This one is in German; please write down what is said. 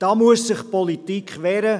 Hier muss sich die Politik wehren.